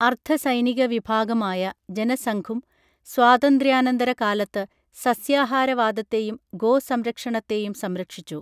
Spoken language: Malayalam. അർധസൈനിക വിഭാഗമായ ജനസംഘും സ്വാതന്ത്ര്യാനന്തര കാലത്ത് സസ്യാഹാരവാദത്തെയും ഗോസംരക്ഷണത്തെയും സംരക്ഷിച്ചു